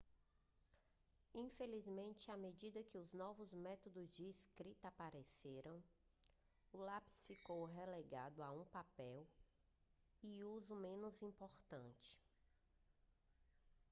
infelizmente a medida que novos método de escrita apareceram o lápis ficou relegado a um papel e uso menos importante